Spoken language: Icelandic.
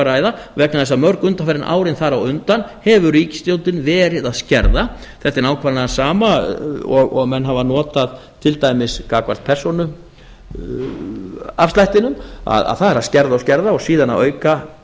ræða vegna þess að mörg undanfarin árin þar á undan hefur ríkisstjórnin verið að skerða þetta er nákvæmlega sama og menn hafa notað til dæmis gagnvart persónuafslættinum það er að skerða og skerða og síðan að auka